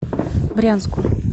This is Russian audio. брянску